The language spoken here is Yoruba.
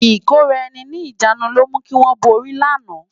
Ikóráèni ni ijánú ló mú kiwòn bóri làná